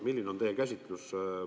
Milline on teie käsitus?